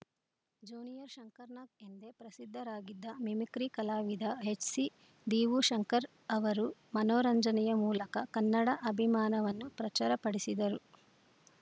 junior Shankar Nag ಎಂದೇ ಪ್ರಸಿದ್ಧರಾಗಿದ್ದ mimicry ಕಲಾವಿದ ಎಚ್‌ಸಿ ದೀವುಶಂಕರ್‌ ಅವರು ಮನೋರಂಜನೆಯ ಮೂಲಕ ಕನ್ನಡ ಅಭಿಮಾನವನ್ನು ಪ್ರಚರ ಪಡಿಸಿದರು